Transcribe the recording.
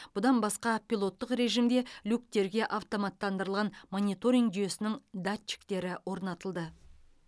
бұдан басқа пилоттық режімде люктерге автоматтандырылған мониторинг жүйесінің датчиктері орнатылды